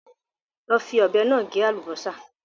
Lọ fi ọ̀bẹ náà gé àlùbásà